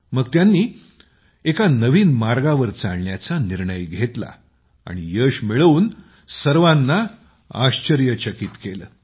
मग त्यांनी एका नवीन मार्गावर चालण्याचा निर्णय घेतला आणि यश मिळवून सर्वांना आश्चर्यचकित केले